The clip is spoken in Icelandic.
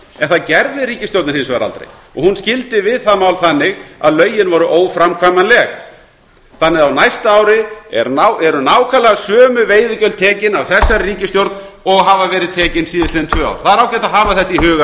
en það gerði ríkisstjórnin hins vegar aldrei hún skildi við það mál þannig að lögin voru óframkvæmanleg þannig að á næsta ári eru nákvæmlega sömu veiðigjöld tekin af þessari ríkisstjórn og hafa verið tekin síðustu tvö árin það er ágætt að hafa þetta í huga